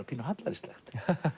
pínu hallærislegt